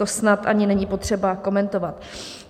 To snad ani není potřeba komentovat.